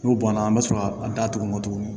N'o bɔnna an bɛ sɔrɔ ka datugun